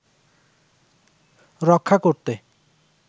রক্ষা করতে